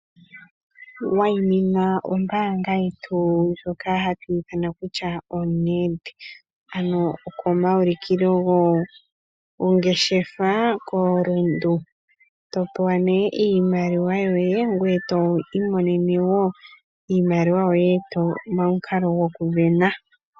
Wayimina ombaanga yetu ndjoka hatu ithana kutya oNedbank, ano okomaulikilo gongeshefa koRundu. To pewa nee iimaliwa yoye ngweye to imonene woo iimaliwa yoye momukalo gokusindana.